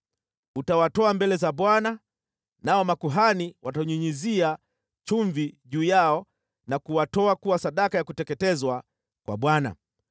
Utawatoa mbele za Bwana , nao makuhani watanyunyizia chumvi juu yao na kuwatoa kuwa sadaka ya kuteketezwa kwa Bwana .